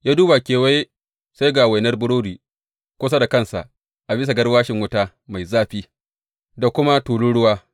Ya duba kewaye, sai ga wainar burodi kusa da kansa a bisa garwashin wuta mai zafi, da kuma tulun ruwa.